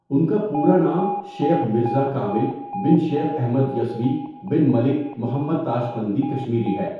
ان کا پورا نام شيخ ميرزا كامل بن شيخ احمد يسوى بن ملك مُحَمَّد تاشقندى كشميری ہے.